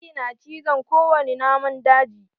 Zaki na cin ko wani naman daji.